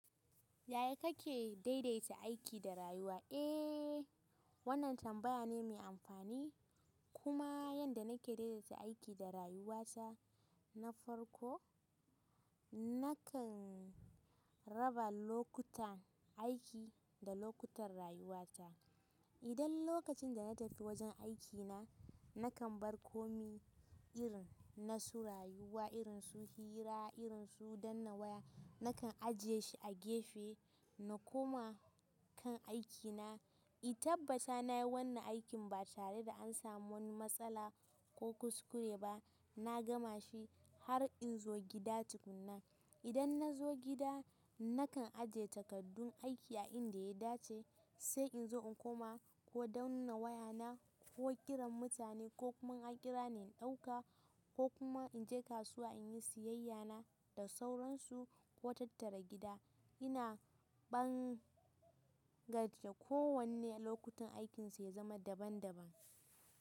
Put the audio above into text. Yaya kake daidaita aiki da rayuwa? Eh, wannan tambaya ne mai amfani. Kuma yanda nake daidaita aiki da rayuwata na farko, nakan raba lokutan aiki da lokutan rayuwata. Idan lokacin da na tafi wajen aikina, nakan bar komai irin na su rayuwa, irin su hira, irin su danna waya. Nakan aje shi a gefe na koma kan aikina in tabbata na yi wannan aikin ba tare da an samu wani matsala ko kuskure ba na gama shi har in zo gida tukun na idan na zo gida, nakan ajiye takaddun aiki a inda ya dace, sai in zo in koma ko danna wayana ko kiran mutane ko kuma in an kira ni in ɗauka ko kuma in je kasuwa in yi siyayya na da sauransu ko tattara gida. Ina ɓangaje ko wanne a lokutan aikinsa ya zama daban-daban.